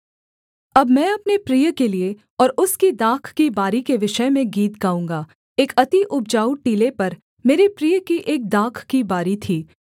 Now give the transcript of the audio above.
अब मैं अपने प्रिय के लिये और उसकी दाख की बारी के विषय में गीत गाऊँगा एक अति उपजाऊ टीले पर मेरे प्रिय की एक दाख की बारी थी